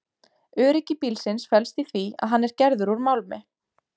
Öryggi bílsins felst í því að hann er gerður úr málmi.